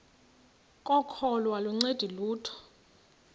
kokholo aluncedi lutho